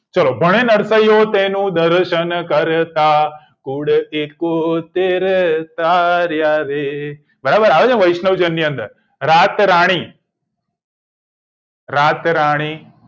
ચલો ભણે નરસૈયો તેનો દર્શન કરતા કુળથી એકોતેર તાર્યારે બરાબર આવે છે ન વૈશ્નજન ની અંદર રાત રાણી રાત રાણી